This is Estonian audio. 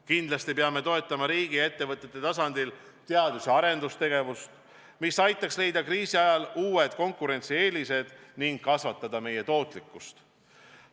Kindlasti peame toetama riigi ja ettevõtete tasandil teadus- ja arendustegevust, mis võimaldaks leida kriisi ajal uusi konkurentsieeliseid ning kasvatada meie tootlikkust.